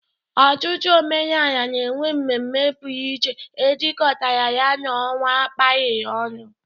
Ọtụtụ omenala na-enwe ememme pụrụ iche e jikọtara ya na ọnwa a kapịrị ọnụ.